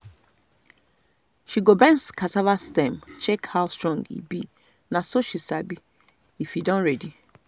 she go bend cassava stem check how strong e be na so she sabi if e don ready.